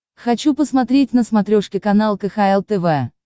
хочу посмотреть на смотрешке канал кхл тв